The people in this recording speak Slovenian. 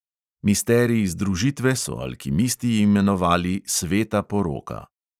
Misterij združitve so alkimisti imenovali sveta poroka.